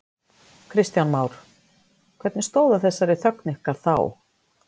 Kristján Már: Hvernig stóð á þessari þögn ykkar þá?